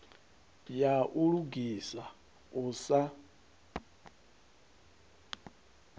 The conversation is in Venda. ya u lugisa u sa